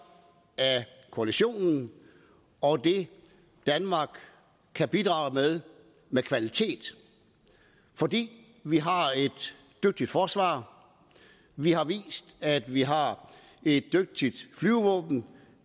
af koalitionen og det danmark kan bidrage med med kvalitet fordi vi har et dygtigt forsvar vi har vist at vi har et dygtigt flyvevåben